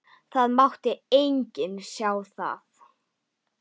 Það mátti enginn sjá það.